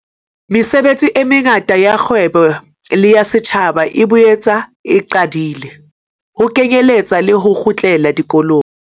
Mesebetsi e mengata ya kgwebo le ya setjhaba e boetse e qadile, ho kenyeletswa le ho kgutlela dikolong.